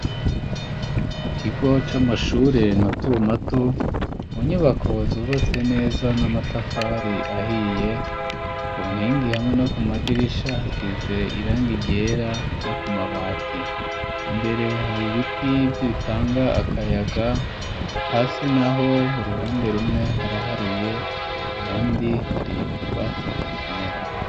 Mu kigo c'amashure mato mato, mu nyubako zubatse neza n'amatafari ahiye, ku nkingi hamwe no ku madirisha hasize irangi ryera no ku mabati, imbere hari ibiti bitanga akayaga, hasi naho uruhande rumwe haraharuye, ahandi hari utwatsi tukimera.